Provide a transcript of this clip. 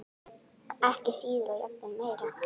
Ekki síður og jafnvel meira.